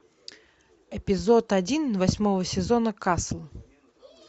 эпизод один восьмого сезона касл